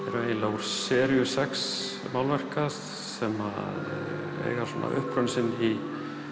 úr seríu sex málverka sem eiga uppruna sinn í